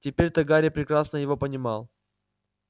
теперь-то гарри прекрасно его понимал